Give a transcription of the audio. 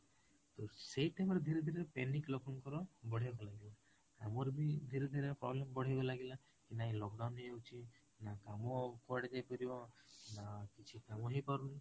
ତ ସେଇ time ରେ ଧୀରେ ଧୀରେ panic ଲୋକଙ୍କର ବଢିବା କୁ ଲାଗିଲା, ଆମର ବି ଧୀରେ ଧୀରେ problem ବଢିବା କୁ ଲାଗିଲା କି ନାହିଁ lockdown ହେଇ ଯାଉଛି ନା କାମ କୁଆଡେ ଯାଇ ପାରିବ ନା କିଛି କାମ ହେଇ ପାରୁନି